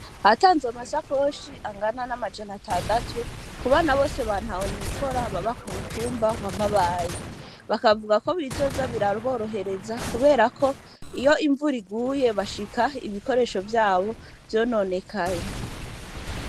hatanzwe amasakoshi angana n’amajana atandatu kubana bose ba ntaho nikora baba kumutumba wa mabayi bakavuga bizoza biraborohereza kuberako iyo imvura iguye bashika ibikoresho vyabo vyononekaye .